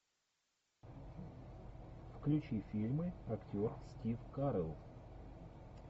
включи фильмы актер стив карелл